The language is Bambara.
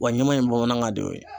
Wa ɲɛma in bamanankan de y'o ye